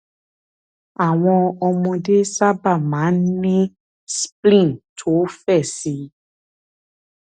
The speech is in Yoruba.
àwọn ọmọdé sábà máa ń ní spleen tó fẹ síi